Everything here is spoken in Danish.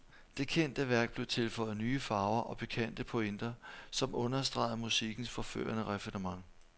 Det kendte værk blev tilføjet nye farver og pikante pointer, som understregede musikkens forførende raffinement.